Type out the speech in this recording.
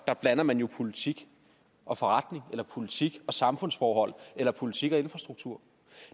blander man jo politik og forretning eller politik og samfundsforhold eller politik og infrastruktur